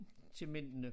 Til mændene